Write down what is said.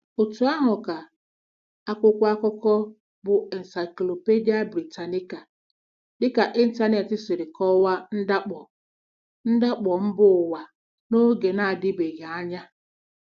Otú ahụ ka akwụkwọ akụkọ bụ́ Encyclopædia Britannica dịka ịntanetị si kọwaa ndakpọ ndakpọ mba ụwa n'oge na-adịbeghị anya.